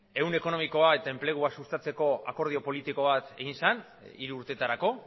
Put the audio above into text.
ehun ekonomikoa eta enplegua sustatzeko ere akordio politiko bat egin zen hiru urtetarako